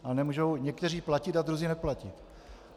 A nemůžou někteří platit a druzí neplatit.